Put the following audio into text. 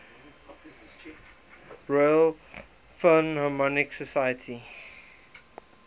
royal philharmonic society